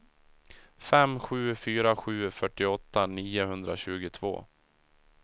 fem sju fyra sju fyrtioåtta niohundratjugotvå